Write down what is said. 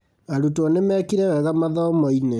Arutwo nĩmekire wega mathomo-inĩ